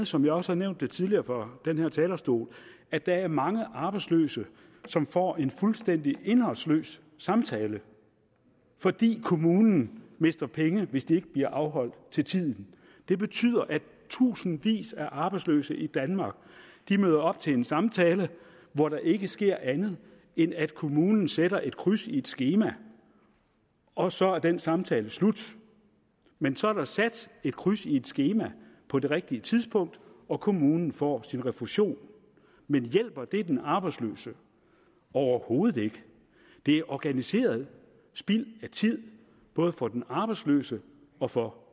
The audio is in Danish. som jeg også har nævnt det tidligere fra den her talerstol at der er mange arbejdsløse som får en fuldstændig indholdsløs samtale fordi kommunen mister penge hvis ikke de bliver afholdt til tiden det betyder at tusindvis af arbejdsløse i danmark møder op til en samtale hvor der ikke sker andet end at kommunen sætter et kryds i et skema og så er den samtale slut men så er der sat et kryds i et skema på det rigtige tidspunkt og kommunen kan få sin refusion men hjælper det den arbejdsløse overhovedet ikke det er organiseret spild af tid både for den arbejdsløse og for